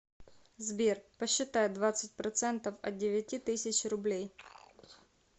сбер посчитай двадцать процентов от девяти тысяч рублей